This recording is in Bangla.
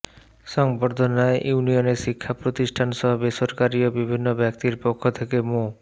সংবর্ধনায় ইউনিয়নের শিক্ষা প্রতিষ্ঠানসহ বেসরকারি ও বিভিন্ন ব্যক্তির পক্ষ থেকে মো